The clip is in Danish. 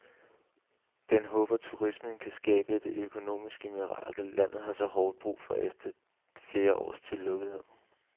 Den håber turismen kan skabe det økonomiske mirakel, landet har så hårdt brug for efter flere års tillukkethed.